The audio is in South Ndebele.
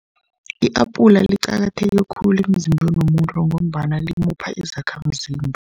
I-apula liqakatheke khulu emzimbeni womuntu, ngombana limupha izakhamzimba.